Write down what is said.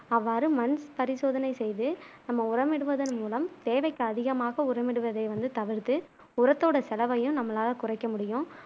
அவ்வாறு மண் பரிசோதனை செய்து நம்ம உரமிடுவதன் மூலம் தேவைக்கு அதிகமாக உரமிடுவதை வந்து தவிர்த்து உர்த்தோட செலவையும் நம்மளால குறைக்க முடியும்